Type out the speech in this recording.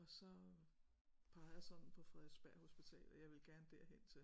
Og så pegede jeg sådan på Frederiksberg Hospital at jeg ville gerne derhen til